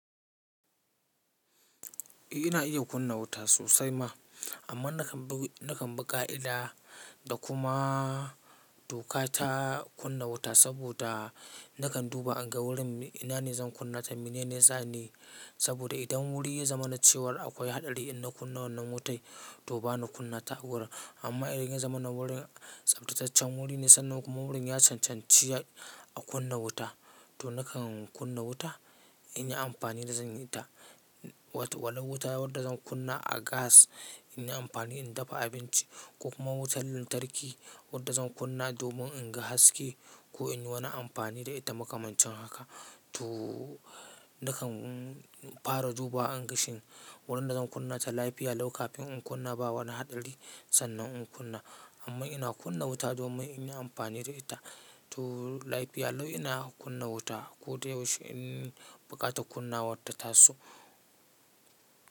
Eh ina iya kunna wuta sosai ma, amma nakan bi ƙa'ida da kuma doka ta kunna wuta saboda nakan duba in ga wurin ina ne zan kunna ta, mene ne zani saboda idan wuri ya zama na cewar akwai hasari in na kunna wannan wuta to bana kunna ta a wurin. Amma idan ya zama na wurin tsaftataccen wuri ne sannan kuma wurin ya cancanci a kunna wuta to nakan kunna wuta in yi amfani da zani ta. Wani wuta wadda zan kunna a gas in yi amfani in dafa abinci ko kuma wutar lantarki wadda zan kunna domin in ga haske ko in yi wani amfani da ita makamancin haka to nakan fara duba in ga shin wurin da zan kunna ta lafiya lau kafin in kunna ba wani hatsari sannan in kunna. Amma ina kunna wuta domin in yi amfani da ita. To lafiya lau ina kunna wuta ko da yaushe in buƙatar kunnawarta ta taso.